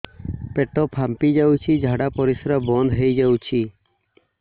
ପେଟ ଫାମ୍ପି ଯାଉଛି ଝାଡା ପରିଶ୍ରା ବନ୍ଦ ହେଇ ଯାଉଛି